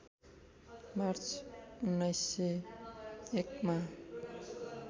March १९०१ मा